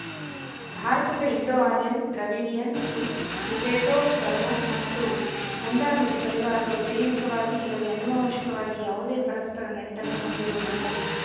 ಭಾರತದ Indo Aryan Dravidian ಟ್ರೀ Tibeto Burman ಮತ್ತು ಮುಂಡಾ ನುಡಿ ಪರಿವಾರಗಳು ಜೈವಿಕವಾಗಿ ಇಲ್ಲವೇ ಆನುವಂಶಿಕವಾಗಿ ಯಾವುದೇ ಪರಸ್ಪರ ನಂಟನ್ನು ಹೊಂದಿರುವುದಿಲ್ಲ